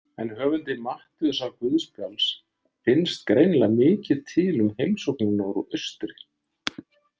En höfundi Matteusarguðspjalls finnst greinilega mikið til um heimsóknina úr austri.